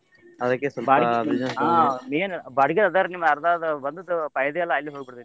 .